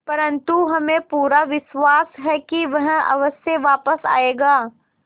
परंतु हमें पूरा विश्वास है कि वह अवश्य वापस आएगा